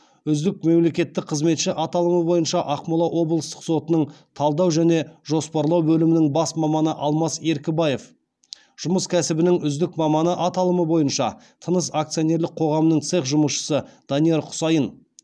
үздік мемлекеттік қызметші аталымы бойынша ақмола облыстық сотының талдау және жоспарлау бөлімінің бас маманы алмас еркібаев жұмыс кәсібінің үздік маманы аталымы бойынша тыныс акционерлік қоғамының цех жұмысшысы данияр құсайын